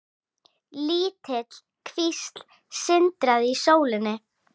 Lítil kvísl sindraði í sólinni.